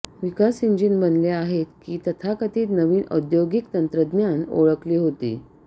विकास engine बनले आहेत की तथाकथित नवीन औद्योगिक तंत्रज्ञान ओळखली होती